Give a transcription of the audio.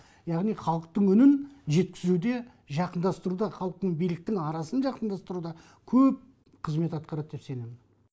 яғни халықтың үнін жеткізуде жақындастыруда халық пен биліктің арасын жақындастыруда көп қызмет атқарады деп сенем